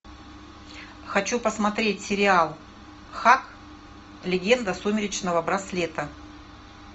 хочу посмотреть сериал хак легенда сумеречного браслета